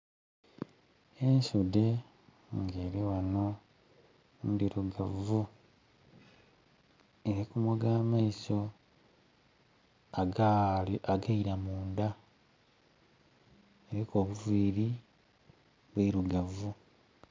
Ensudhe nga eri ghano nndhirugavu erikumoga ameiso ageira munda eriku obuviri bwirugavu.